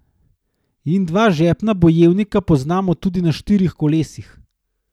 In dva žepna bojevnika poznamo tudi na štirih kolesih.